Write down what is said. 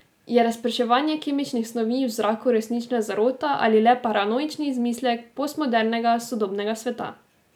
Je razprševanje kemičnih snovi v zraku resnična zarota ali le paranoični izmislek postmodernega, sodobnega sveta?